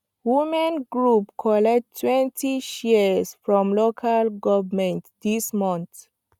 women group collect twenty shears from local govment this month